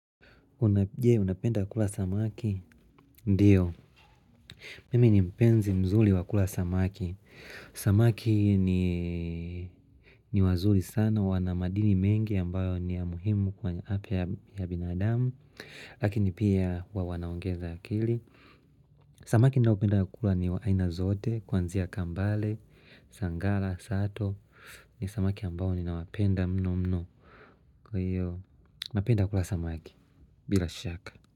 Je Unapenda kula samaki? Ndiyo. Mimi ni mpenzi mzuri wa kula samaki. Samaki ni wazuri sana wana madini mengi ambayo ni ya muhimu kwa afya ya binadamu. Lakini pia wanaongeza akili. Samaki ninaopenda kula ni wa aina zote, kwanzia kambale, sangala, sato. Ni samaki ambayo ninawapenda mno mno. Kwa hiyo, napenda kula samaki, bila shaka.